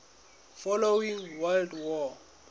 following world war